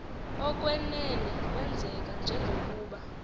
okwenene kwenzeka njengokuba